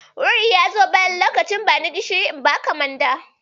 Wuri ya zo bayan lokacin ban gishiri na baka manda.